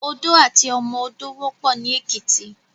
Odó àti ọmọ odó wòpò ni Ekiti